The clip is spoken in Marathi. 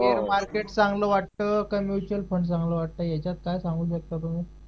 शेअर मार्केट चांगलं वाटतं का म्युच्युअल फंड चांगलं वाटतंय याच्यात काय सांगू शकता तुम्ही